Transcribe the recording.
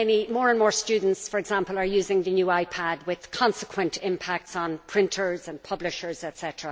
More and more students, for example, are using the new iPad with consequent impacts on printers and publishers, etc.